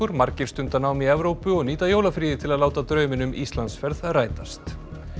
margir stunda nám í Evrópu og nýta jólafríið til að láta drauminn um Íslandsferð rætast